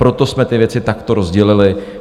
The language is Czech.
Proto jsme ty věci takto rozdělili.